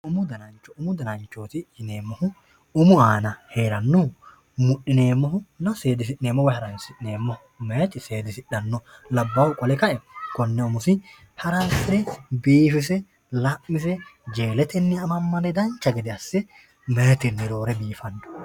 umu danancho umu dananchooti yineemohu umu aana heerannohu mudhineemoho seedisi'neemo woy haransi'neemoho meyaati seedisidhanno labbaahu qole ka'e konne umosi haransire biifise la'mise jeeletenni amammade dancha gede asse meeyaatenni roore biifanno